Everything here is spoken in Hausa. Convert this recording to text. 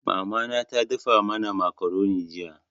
Mama na ta dafa mana makaroni jiya.